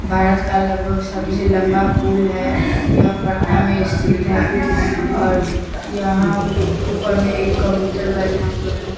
भारत का लगभग सबसे लम्बा पूल है यह पटना में स्थित है और यहाँ ऊपर में एक कबूतर बैठा हुआ है ।